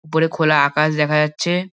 উপরে খোলা আকাশ দেখা যাচ্ছে।